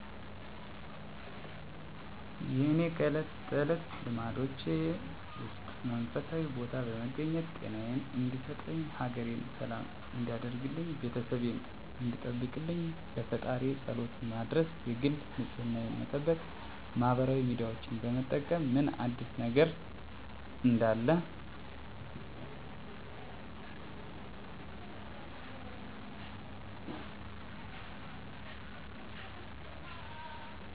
የእኔ ከእለት ተለት ልማዶቼ ውስጥ መንፈሳዊ ቦታ በመገኘት ጤናየን እንዲሰጠኝ፣ ሀገሬን ሰላም እንዲያደርግልኝ፣ ቤተሰቤን እንዲጠብቅልኝ ለፈጣሪየ ፀሎት መድረስ የግል ንፅህናየን መጠበቅ ማህበራዊ ሚዲያዎችን በመጠቀም ምን አዲስ ነገር እንዳለ ማየት እንዲሁም ትኩስ ነገሮችን መጠቀም ከብዙ ልማዶቼ በጥቂቱ እነዚህ ዋናዎቹ ናቸው። ከእነዚህ ውስጥ የኔ ዋናው ልማዴ የግል ንፅህናዬን መጠበቅ ሲሆን በዋነኝነት ጥርሴን ማፅዳት እና መጥፎ ጠረን ሊያመጡ የሚችሉ ቦታዎችን መታጠብ ነው። በመቀጠል በየቀኑ ትኩስ ነገሮችን አዘወትራለሁ ከትኩስ ነገሮች ውስጥ ሻይ እጠቀማለሁ።